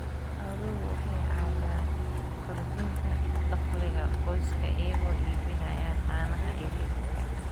Xooluhu waxay caawiyaan kordhinta dakhliga qoyska iyagoo iibinaya caanaha iyo hilibka.